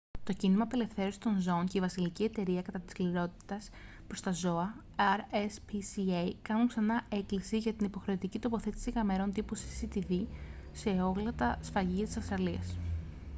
το κίνημα απελευθέρωσης των ζώων και η βασιλική εταιρεία κατά της σκληρότητας προς τα ζώα rspca κάνουν ξανά έκκληση για την υποχρεωτική τοποθέτηση καμερών τύπου cctv σε όλα τα σφαγεία της αυστραλίας